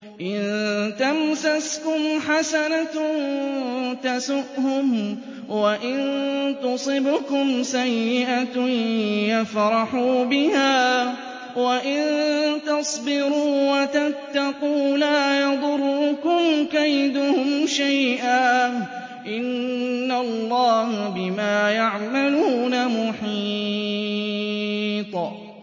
إِن تَمْسَسْكُمْ حَسَنَةٌ تَسُؤْهُمْ وَإِن تُصِبْكُمْ سَيِّئَةٌ يَفْرَحُوا بِهَا ۖ وَإِن تَصْبِرُوا وَتَتَّقُوا لَا يَضُرُّكُمْ كَيْدُهُمْ شَيْئًا ۗ إِنَّ اللَّهَ بِمَا يَعْمَلُونَ مُحِيطٌ